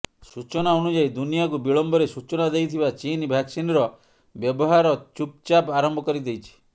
ସୂଚନା ଅନୁଯାୟୀ ଦୁନିଆକୁ ବିଳମ୍ବରେ ସୂଚନା ଦେଇଥିବା ଚୀନ ଭାକସିନର ବ୍ୟବହାର ଚୁପ୍ ଚାପ୍ ଆରମ୍ଭ କରି ଦେଇଛି